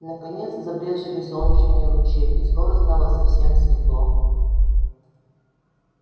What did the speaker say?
наконец забрезжили солнечные лучи и скоро стало совсем светло